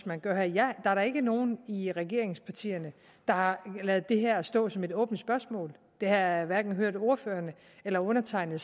man gør her der er da ikke nogen i regeringspartierne der har ladet det her stå som et åbent spørgsmål det har jeg hverken hørt ordførerne eller undertegnede